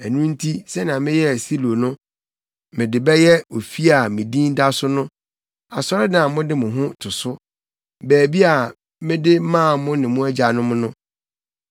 Ɛno nti, sɛnea meyɛɛ Silo no, mede bɛyɛ ofi a me Din da so no, asɔredan a mode mo ho to so, baabi a mede maa mo ne mo agyanom no.